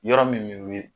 Yɔrɔ min bɛ ye